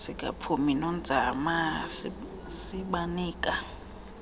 sikaphumi nonzame sibanika